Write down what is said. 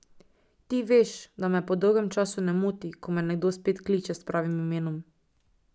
Ti veš, da me po dolgem času ne moti, ko me nekdo spet kliče s pravim imenom ...